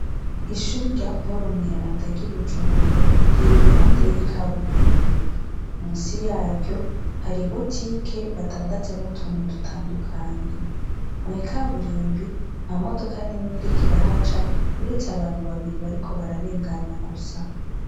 Ishuri rya polo mweranda ry'i bujumbura rira i ruhande y'ikaburimbi musi yaryo hari i bo tike badandazamutuntu dutandukanyi mwikaburimbi nta modoka n'imwe rikirahaca uretse abantu babiri bariko bararengana gusa.